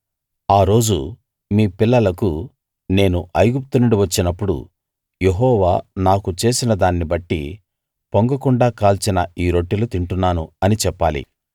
ఆ రోజు మీ పిల్లలకు నేను ఐగుప్తు నుండి వచ్చినప్పుడు యెహోవా నాకు చేసిన దాన్ని బట్టి పొంగకుండా కాల్చిన ఈ రొట్టెలు తింటున్నాను అని చెప్పాలి